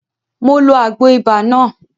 Mo ló Àgbo ibà náà